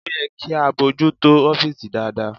Ó yẹ kí a bójú tó ọ́fìsì dáadáa..